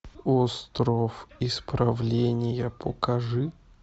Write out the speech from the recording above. остров исправления покажи